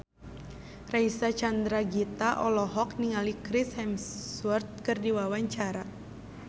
Reysa Chandragitta olohok ningali Chris Hemsworth keur diwawancara